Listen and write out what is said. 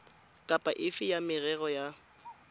kapa efe ya merero ya